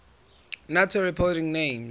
nato reporting names